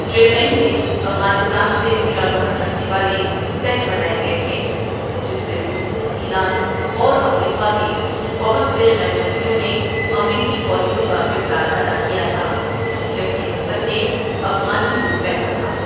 چنئی میں افغانستان سے مشابہت رکھنے والے سیٹ بنائے گئے تھے، جس میں روس، ایران اور افریقہ کے بہت سے غیر ملکیوں نے امریکی فوجیوں کا کردار ادا کیا تھا، جبکہ حسن نے افغانی روپ پہنا تھا۔